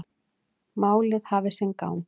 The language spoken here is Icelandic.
Málið hafi sinn gang.